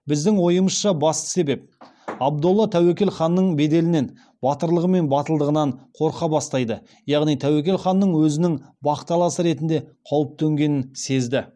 біздің ойымызша басты себеп абдолла тәуекел ханның беделінен батырлығы мен батылдығынан қорқа бастайды яғни тәуекел ханнан өзінің бақталасы ретінде қауіп төнгенін сезді